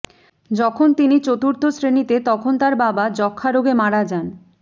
যখন তিনি চতুর্থ শ্রেণীতে তখন তার বাবা যক্ষা রোগে মারা যান